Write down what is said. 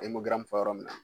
fɔ yɔrɔ min na